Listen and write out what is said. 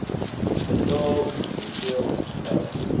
betaal hoeveel geld